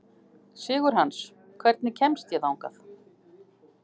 Sigurhans, hvernig kemst ég þangað?